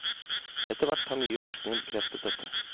Etterhvert har mye forskning bekreftet dette.